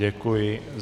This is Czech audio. Děkuji.